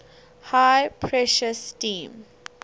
high pressure steam